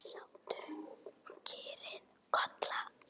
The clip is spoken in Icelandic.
Stattu, kýrin Kolla!